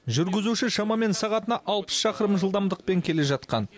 жүргізуші шамамен сағатына алпыс шақырым жылдамдықпен келе жатқан